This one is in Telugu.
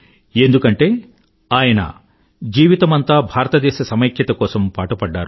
ఎందుకంటే ఈయన జీవితమంతా భారతదేశ సమైక్యత కోసం పాటుపడ్డారు